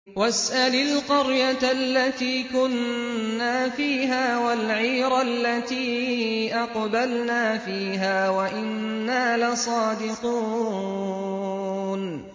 وَاسْأَلِ الْقَرْيَةَ الَّتِي كُنَّا فِيهَا وَالْعِيرَ الَّتِي أَقْبَلْنَا فِيهَا ۖ وَإِنَّا لَصَادِقُونَ